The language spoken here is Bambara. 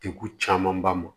Degun camanba ma